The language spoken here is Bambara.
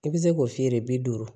I bɛ se k'o f'i ye de bi duuru